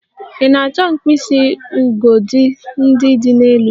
Ị na-achọ mkpịsị ugodi ndị dị n'elu?